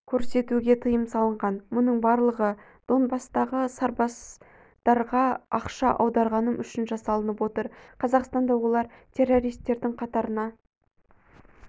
көрсетуге тыйым салынған мұның барлығы донбасстағы сарбаздарғаақша аударғаным үшін жасалынып отыр қазақстанда олар террористтердің қатарына